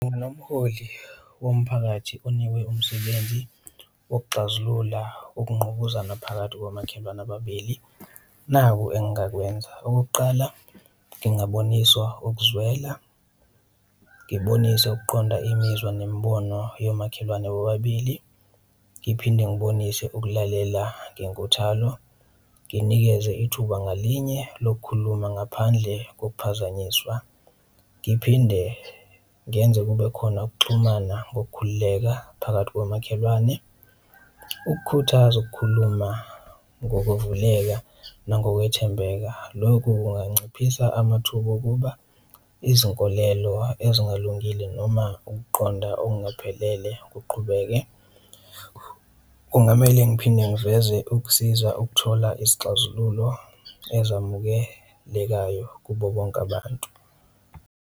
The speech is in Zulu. Womphakathi onikwe umsebenzi wokuxazulula ukungqubuzana phakathi komakhelwane ababili naku engakwenza. Okokuqala, ngingaboniswa ukuzwela, ngibonise ukuqonda imizwa nemibono yomakhelwane bobabili, ngiphinde ngibonise ukulalela ngenkuthalo, nginikeze ithuba ngalinye lokukhuluma ngaphandle kokuphazanyiswa, ngiphinde ngenze kube khona ukuxhumana ngokukhululeka phakathi komakhelwane, ukukhuthaza ukukhuluma ngokuvuleka nangokwethembeka. Lokhu kunganciphisa amathuba okuba izinkolelo ezingalungile noma ukuqonda okungaphelele kuqhubeke, kungamele ngiphinde ngiveze ukusiza ukuthola isixazululo ezamukelekayo kubo bonke abantu.